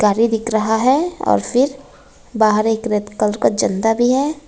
गाड़ी दिख रहा है और फिर बाहर एक रेड कलर का झंडा भी है।